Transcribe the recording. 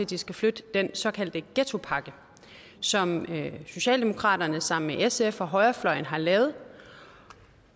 de skal flytte den såkaldte ghettopakke som socialdemokraterne sammen med sf og højrefløjen har lavet